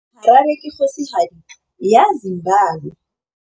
Harare ke kgosigadi ya Zimbabwe.